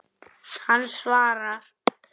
Hann svarar.